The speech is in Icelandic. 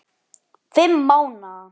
Fimm mánaða